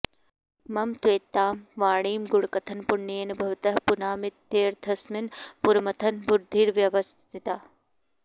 मम त्वेतां वाणीं गुणकथनपुण्येन भवतः पुनामीत्यर्थेऽस्मिन् पुरमथन बुद्धिर्व्यवसिता